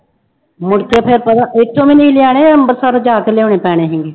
ਮੁੜਕੇ ਫਿਰ ਪਤਾ ਇੱਥੋਂ ਵੀ ਲੈਣਾ ਅੰਬਰਸਰੋਂ ਜਾ ਕੇ ਲਿਆਉਣੇ ਪੈਣੇ ਸੀਗੇ